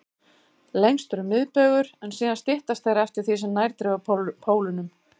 Lengstur er miðbaugur, en síðan styttast þeir eftir því sem nær dregur pólunum.